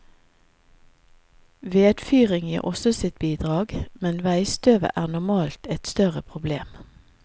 Vedfyring gir også sitt bidrag, men veistøvet er normalt et større problem.